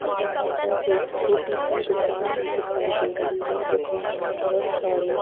यहाँ पर एक छोटी सी दुकान दिखाई दे रही है दुकान मे बहोत सारे--